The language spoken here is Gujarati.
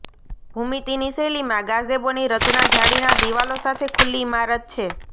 ભૂમિતિની શૈલીમાં ગાઝેબોની રચના જાળીના દિવાલો સાથે ખુલ્લી ઇમારત છે